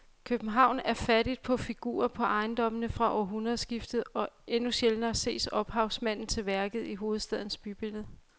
København er fattig på figurer på ejendommene fra århundredskiftet og endnu sjældnere ses ophavsmanden til værket i hovedstadens bybillede.